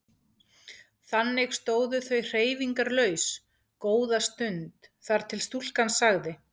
Þannig stóðu þau hreyfingarlaus góða stund þar til stúlkan sagði